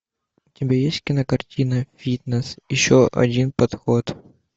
у тебя есть кинокартина фитнес еще один подход